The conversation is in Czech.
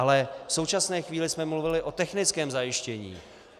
Ale v současné chvíli jsme mluvili o technickém zajištění.